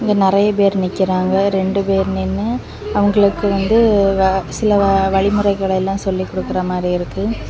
இங்க நரிய பேரு நிக்குறாங்க ரெண்டு பேரு நின்னு அவுங்களுக்கு வந்து சில வழிமுறைகள எல்லா சொல்லி குடுக்குற மாதிரி இருக்கு.